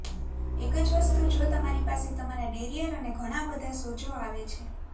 એક જ વસ્તુ જો તમારી પાસે તમારા ડેરિઅર પર ઘણા બધા સોજો આવે છે